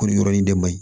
Ko nin yɔrɔ in de man ɲi